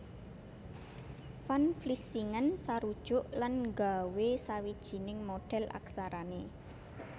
Van Vlissingen sarujuk lan nggawé sawijining modhèl aksarané